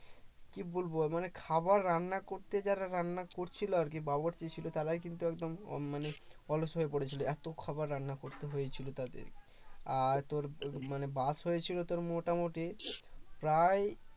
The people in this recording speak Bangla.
কি বলবো মানে খাবার রান্না করতে যারা রান্না করছিল আর কি বাবুর্চি ছিল তারাই কিন্তু একদম উম মানে অলস হয়ে পড়েছিল এত খাবার রান্না করতে হয়েছিল তাদের আর তোর মানে বাস হয়েছিল তোর মোটামুটি প্রায়